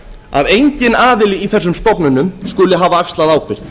að enginn aðili í þessum stofnunum skuli hafa axlað ábyrgð